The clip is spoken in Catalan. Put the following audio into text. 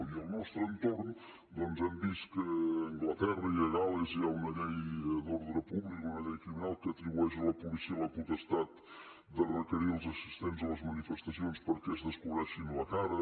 i al nostre entorn doncs hem vist que a anglaterra i a gal·les hi ha una llei d’ordre públic una llei criminal que atribueix a la policia la potestat de requerir als assistents a les manifestacions perquè es descobreixin la cara